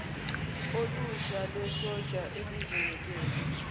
olusha lwesotsha elizinikele